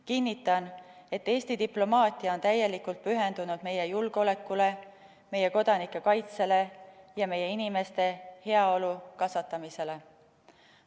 Kinnitan, et Eesti diplomaatia on täielikult pühendunud meie julgeolekule, meie kodanike kaitsele ja meie inimeste heaolu kasvatamisele.